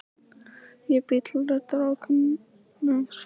Ég bý til raddir ókunnugs fólks.